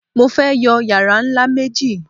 Mo fẹ́ yọ yàrá ńlá méjì